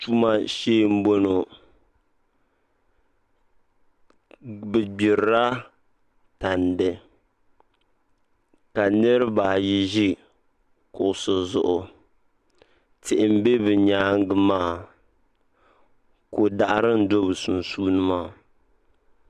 Tuma shee n boŋo bi gbirila tandi ka nirabaayi ʒi kuɣusi zuɣu tihi n bɛ bi nyaangi maa ko daɣari n do bi sunsuuni maa